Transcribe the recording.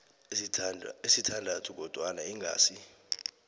ezisithandathu kodwana ingasi